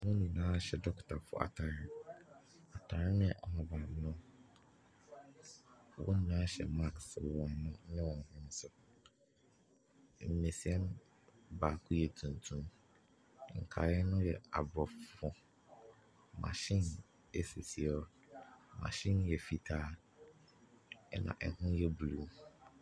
Wɔn nyinaa hyɛ dɔkotafoɔ atadeɛ. Atadeɛ no yɛ ahabammono. Wɔn nyinaa hyɛ mask wɔ wɔn ano ne wɔn hwene so. Mmesia no baako yɛ tuntum. Nkaeɛ no yɛ Aborɔfo. Machine sisi hɔ. Machine no yɛ fitaa, Ɛna ɛho yɛ blue.